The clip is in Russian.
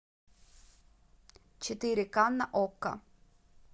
четыре к на окко